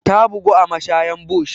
Ta bugu a mashayan bush.